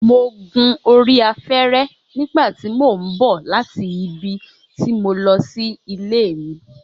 Mo gun orí afẹ́rẹ́ nígbà tí mò ń bọ̀ láti ibi tí mo lọ sí ilé mi